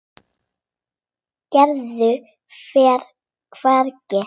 Gerður fer hvergi.